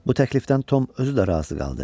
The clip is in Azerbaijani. Bu təklifdən Tom özü də razı qaldı.